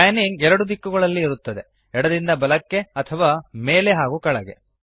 panning 2 ದಿಕ್ಕುಗಳಲ್ಲಿ ಇರುತ್ತದೆ ಎಡದಿಂದ ಬಲಕ್ಕೆ ಅಥವಾ ಮೇಲೆ ಹಾಗೂ ಕೆಳಗೆ